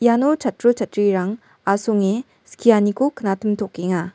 iano chatro chatrirang asonge skianiko knatimtokenga.